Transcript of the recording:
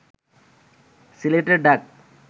সিলেটের ডাক